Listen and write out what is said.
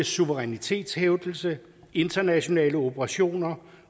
suverænitetshævdelse internationale operationer